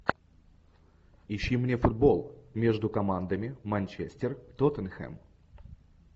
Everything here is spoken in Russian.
ищи мне футбол между командами манчестер тоттенхэм